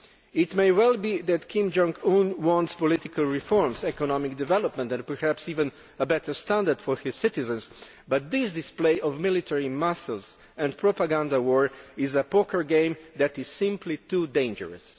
It may well be that Kim Jong Un wants political reforms, economic development and perhaps even a better standard for his citizens, but this display of military muscle and propaganda war is a poker game that is simply too dangerous.